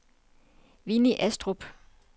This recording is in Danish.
Winnie Astrup